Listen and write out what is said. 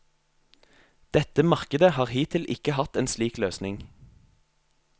Dette markedet har hittil ikke hatt en slik løsning.